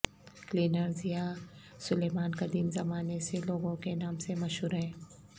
cleaners یا سلیمان قدیم زمانے سے لوگوں کے نام سے مشہور ہیں